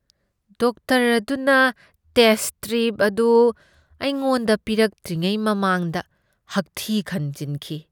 Doctor ꯑꯗꯨꯅ test strip ꯑꯗꯨ ꯑꯩꯉꯣꯟꯗ ꯄꯤꯔꯛꯇ꯭ꯔꯤꯉꯩ ꯃꯃꯥꯡꯗ ꯍꯥꯛꯊꯤ ꯈꯟꯖꯤꯟꯈꯤ꯫